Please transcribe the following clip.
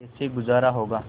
कैसे गुजारा होगा